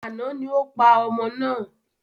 Àná ni o pa ọmọ náà.